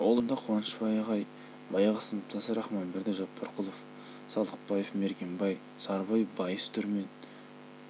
ол ұжымда қуанышбай ағай баяғы сыныптасы рахманберді жаппарқұлов салықбаев мергенбай сарыбай байыс дүрмен қуандық жабағиев әбілқас